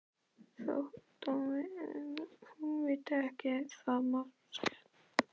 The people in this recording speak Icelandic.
Þótt hún viti það máske ekki.